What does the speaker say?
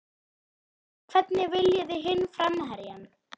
Hvernig veljið þið hinn framherjann?